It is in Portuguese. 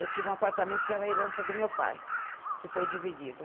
Eu tinha um apartamento que era a herança do meu pai, que foi dividido.